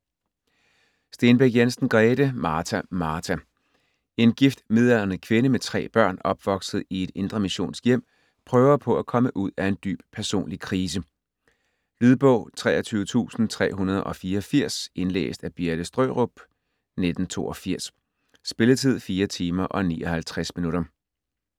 Stenbæk Jensen, Grete: Martha! Martha! En gift midaldrende kvinde med tre børn, opvokset i et indremissionsk hjem, prøver på at komme ud af en dyb personlig krise. Lydbog 23384 Indlæst af Birte Størup, 1982. Spilletid: 4 timer, 59 minutter.